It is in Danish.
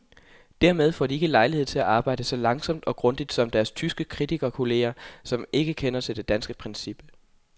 Dermed får de ikke lejlighed til at arbejde så langsomt og grundigt som deres tyske kritikerkolleger, som ikke kender til det danske princip.